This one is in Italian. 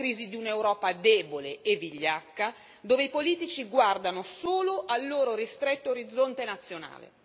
È la crisi di un'Europa debole e vigliacca, dove i politici guardano solo al loro ristretto orizzonte nazionale.